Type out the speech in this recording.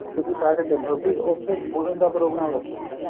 ਤੁਸੀਂ ਲਾਕੇ ਚਲੋ ਵੀ ਉਥੇ ਦੋ ਦਿਨ ਦਾ ਪ੍ਰੋਗਰਾਮ ਰੱਖੋ